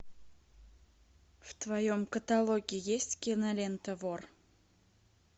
в твоем каталоге есть кинолента вор